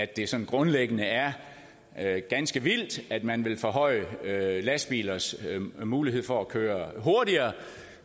det sådan grundlæggende er er ganske vildt at man vil forhøje lastbilers mulighed for at køre hurtigere